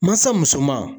Mansa musoman